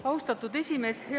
Austatud esimees!